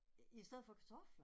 I stedet for kartofler?